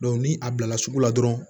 ni a bilala sugu la dɔrɔn